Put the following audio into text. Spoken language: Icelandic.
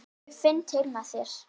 Ég finn til með þér.